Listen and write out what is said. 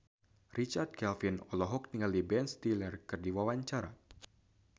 Richard Kevin olohok ningali Ben Stiller keur diwawancara